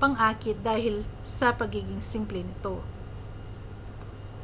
pang-akit dahil sa pagiging simple nito